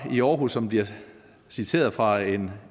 i aarhus som bliver citeret fra en